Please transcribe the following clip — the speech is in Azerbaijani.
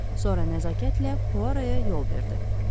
Sonra nəzakətlə Puara yol verdi.